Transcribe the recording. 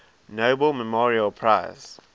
nobel memorial prize